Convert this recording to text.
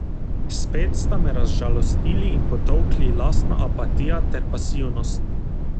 Spet sta me razžalostili in potolkli lastna apatija ter pasivnost.